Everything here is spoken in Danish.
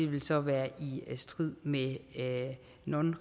vil så være i strid med non